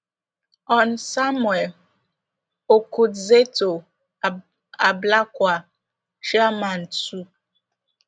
hon samuel okudzeto ablakwa chairman two